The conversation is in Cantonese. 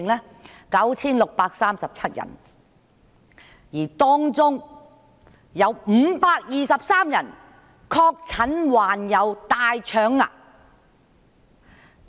有 9,637 人，而當中有523人確診患有大腸癌。